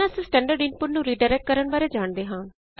ਪਹਿਲਾਂ ਅਸੀ standard input ਨੂੰ ਰੀਡਾਇਰੈਕਟ ਕਰਨ ਬਾਰੇ ਜਾਣਦੇ ਹਾਂ